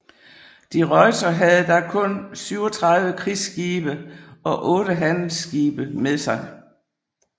De Ruyter havde da kun 37 krigsskibe og otte handelsskibe med sig